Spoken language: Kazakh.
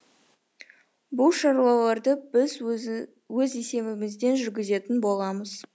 бұл шаруаларды біз өз есебімізден жүргізетін боламыз